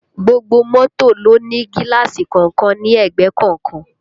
Gbogbo mọ́tò ló ń ní gíláàsì kọ̀ọ̀kan ní ẹ̀gbẹ́ kọ̀ọ̀kan